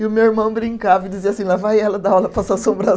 E o meu irmão brincava e dizia assim, lá vai ela dar aula para as